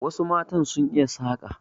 Wasu matan sun iya saƙa.